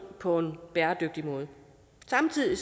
på en bæredygtig måde samtidig